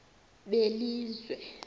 belizwe